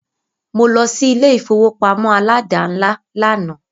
Mó lọ sí ilé ìfọwọ́pamó aládàńlá lànà.